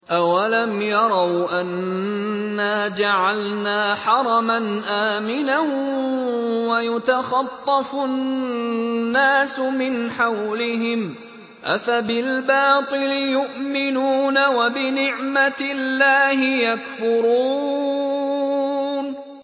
أَوَلَمْ يَرَوْا أَنَّا جَعَلْنَا حَرَمًا آمِنًا وَيُتَخَطَّفُ النَّاسُ مِنْ حَوْلِهِمْ ۚ أَفَبِالْبَاطِلِ يُؤْمِنُونَ وَبِنِعْمَةِ اللَّهِ يَكْفُرُونَ